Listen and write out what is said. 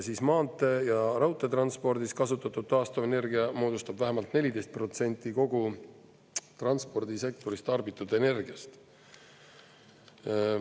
Maantee- ja raudteetranspordis kasutatud taastuvenergia moodustab vähemalt 14% kogu transpordisektoris tarbitud energiast.